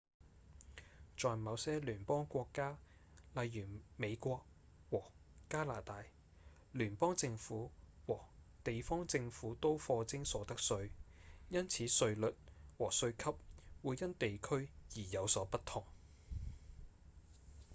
在某些聯邦國家例如美國和加拿大聯邦政府和地方政府都課徵所得稅因此稅率和稅級會因地區而有所不同